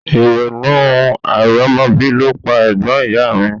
Ìrònú àìrọ́mọbí ló pa ẹ̀gbọ́n ìyá a mi